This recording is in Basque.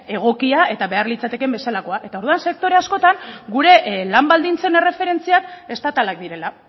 egokia eta behar litzatekeen bezalakoa orduan sektore askotan gure lan baldintzen erreferentziak estatalak direla